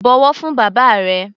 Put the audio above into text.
Bọ̀wọ̀ fún bàbá rẹ!